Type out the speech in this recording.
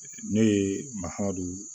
Ne ye mahamadu